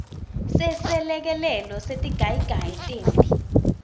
seselekelelo setigayigayi temphi